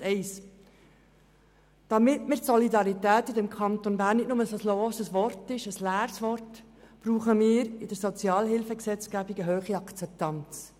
Erstens: Damit die Solidarität in diesem Kanton Bern nicht nur ein leeres Wort ist, brauchen wir bei der Sozialhilfegesetzgebung eine hohe Akzeptanz.